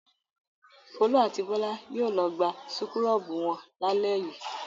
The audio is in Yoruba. Folú a ti Bọ́lá yóò lọ gba súkúrọ́bù wọn lálẹ́ yìí.